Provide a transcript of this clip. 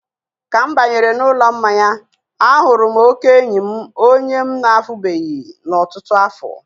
ka m banyere n'ụlọ mmanya, a hụrụ oke enyi m onye m na-ahụbeghị n'ọtụtụ afọ.